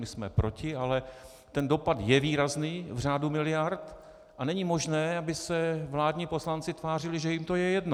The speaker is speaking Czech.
My jsme proti, ale ten dopad je výrazný v řádu miliard a není možné, aby se vládní poslanci tvářili, že jim to je jedno.